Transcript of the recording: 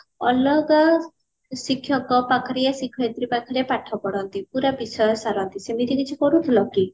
ଅଲଗା ଶିକ୍ଷକ ପାଖରେ ୟା ଶିକ୍ଷୟତ୍ରୀ ପାଖରେ ପାଠ ପଢନ୍ତି ପୁରା ବିଷୟ ସାରନ୍ତି ସେମିତି କିଛି କରୁଥିଲ କି